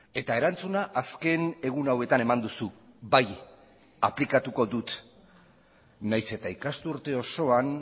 eta erantzuna azken egun hauetan eman duzu bai aplikatuko dut nahiz eta ikasturte osoan